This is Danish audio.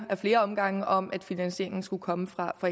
af flere omgange om at finansieringen skulle komme fra